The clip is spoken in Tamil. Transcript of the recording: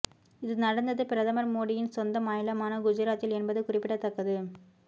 இது நடந்தது பிரதமர் மோடியின் சொந்த மாநிலமான குஜராத்தில் என்பது குறிப்பிடத்தக்கது